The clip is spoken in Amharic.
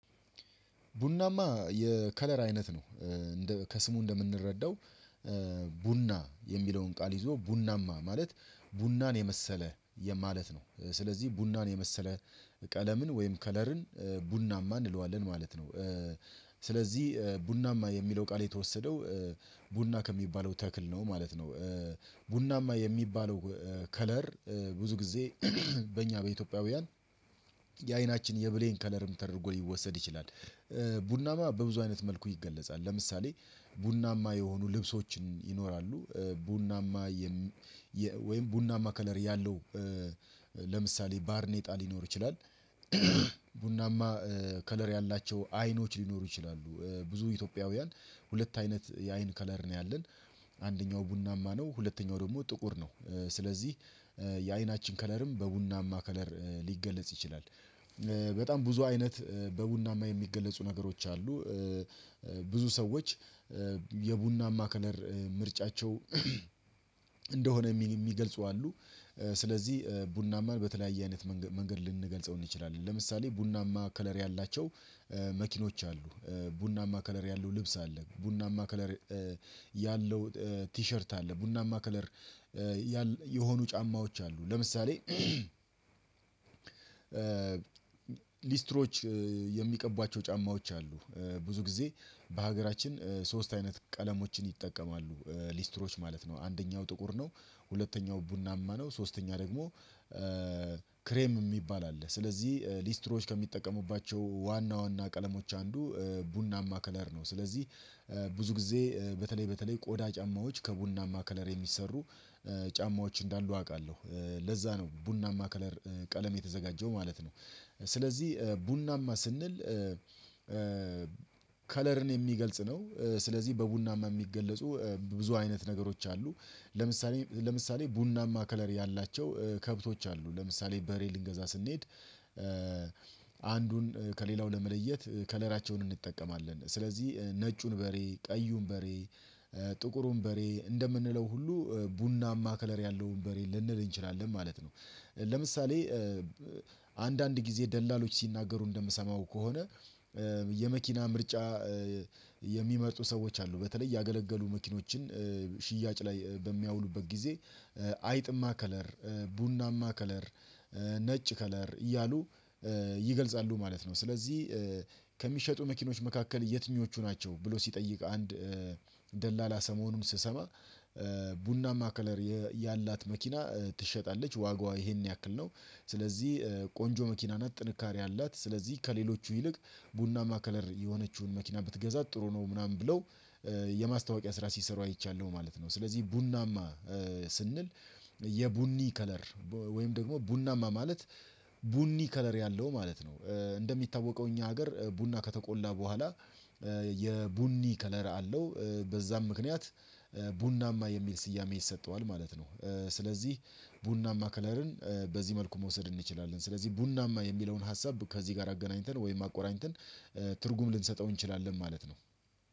ቡናማ የከለር አይነት ነው። ከስሙ እንደምንረዳው ቡና የሚለውን ቃል ይዞ ቡናማ ማለት ቡናን የመሰለ ማለት ነው። ስለዚህ ቡናን የመሰለ ቀለምን ወይም ከለርን ቡናማ እንለዋለን ማለት ነው። ስለዚህ ቡናማ የሚለው ቃል የተወሰደው ቡና ከሚባለው ተክል ነው ማለት ነው። ቡናማ የሚባለው ከለር ብዙ ጊዜ በእኛ በኢትዮጵያውያን የአይናችን የብሌን ከለርም ተደርጎ ሊወሰድ ይችላል። ቡናማ በብዙ አይነት መልኩ ይገለጻል ለምሳሌ ቡናማ የሆኑ ልብሶችን ይኖራሉ። ቡናማ ወይም ቡናማ ከለር ያለው ለምሳሌ ባርኔጣ ሊኖር ይችላል። ቡናማ ከለር ያላቸው አይኖች ሊኖሩ ይችላሉ ብዙ ኢትዮጵያውያን ሁለት አይነት የአይን ከለር ነው ያለን። አንደኛው ቡናማ ነው ሁለተኛው ደግሞ ጥቁር ነው። ስለዚህ የአይናችን ከለርም በቡናማ ከለር ሊገለጽ ይችላል። በጣም ብዙ አይነት በቡናማ የሚገለጹ ነገሮች አሉ። ብዙ ሰዎች የቡና ማከነር ምርጫቸው እንደሆነ የሚገልጹ አሉ። ስለዚህ ቡናማን በተለያየ አይነት መንገድ ልንገልጸው እንችላለን ለምሳሌ ቡናማ ከለር ያላቸው መኪኖች አሉ። ቡናማ ከለር ያለው ልብስ አለ ቡናማ ከለር ያለው ቲሸርት አለ። ቡና ማከለር የሆኑ ጫማዎች አሉ። ለምሳሌ ሊስትሮዎች የሚቀቧቸው ጫማዎች አሉ ብዙ ጊዜ በሀገራችን ሶስት አይነት ቀለሞችን ይጠቀማሉ ሊስትሮች ማለት ነው። አንደኛው ጥቁር ነው ሁለተኛው ቡናማ ነው ሶስተኛ ደግሞ ክሬም የሚባል አለ። ስለዚህ ሊስትሮዎች ከሚጠቀሙባቸው ዋና ዋና ቀለሞች አንዱ ቡናማ ከለር ነው። ስለዚህ ብዙ ጊዜ በተለይ በተለይ ቆዳ ጫማዎች ከቡና ማከለር የሚሰሩ ጫማዎች እንዳሉ አውቃለሁ ለዛ ነው ቡናማ ከለር ቀለም የተዘጋጀው ማለት ነው። ስለዚህ ቡናማ ስንል ከለርን የሚገልጽ ነው ስለዚህ በቡናማ የሚገለጹ ብዙ አይነት ነገሮች አሉ። ለምሳሌ ቡናማ ከለር ያላቸው ከብቶች አሉ ለምሳሌ በሬ ልንገዛ ስንሄድ አንዱን ከሌላው ለመለየት ከለራቸውን እንጠቀማለን ስለዚህ ነጩን በሬ ቀዩን በሬ ጥቁሩን በሬ እንደምንለው ሁሉ ቡናማ ከለር ያለውን በሬ ልንል እንችላለን ማለት ነው። ለምሳሌ አንዳንድ ጊዜ ደላሎች ሲናገሩ እንደምሰማው ከሆነ የመኪና ምርጫ የሚመርጡ ሰዎች አሉ በተለይ ያገለገሉ መኪኖችን ሽያጭ ላይ በሚያውሉበት ጊዜ አይጥማ ከለር ቡናማ ከለር ነጭ ከለር እያሉ ይገልጻሉ ማለት ነው። ስለዚህ ከሚሸጡ መኪኖች መካከል የትኞቹ ናቸው? ብሎ ሲጠይቅ አንድ ደላላ ሰሞኑም ስሰማ ቡናማ ከለር ያላት መኪና ትሸጣለች ዋጋዋ ይሄን ያክል ነው። ስለዚህ ቆንጆ መኪና ናት ጥንካሬ አላት ስለዚህ ከሌሎቹ ይልቅ ቡናማ ከለር የሆነችውን መኪና ብትገዛ ጥሩ ነው ምናምን ብለው የማስታወቂያ ስራ ሲሰሩ አይቻለሁ ማለት ነው። ስለዚህ ቡናማ ስንል የቡኒ ከለር ወይም ደግሞ ቡናማ ማለት ቡኒ ከለር ያለው ማለት ነው። እንደሚታወቀው እኛ ሀገር ቡና ከተቆላ በኋላ የቡኒ ከለር አለው በዛም ምክንያት ቡናማ የሚል ስያሜ ይሰጠዋል ማለት ነው። ስለዚህ ቡናማ ከለርን በዚህ መልኩ መውሰድ እንችላለን። ስለዚህ ቡናማ የሚለውን ሀሳብ ከዚህ ጋር አገናኝተን ወይም አቆራኝተን ትርጉም ልንሰጠው እንችላለን ማለት ነው